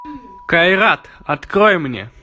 кайрат открой мне